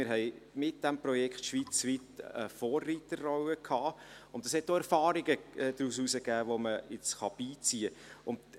Wir haben mit diesem Projekt schweizweit eine Vorreiterrolle eingenommen, und aus diesem Projekt ergaben sich Erfahrungen, die man jetzt beiziehen kann.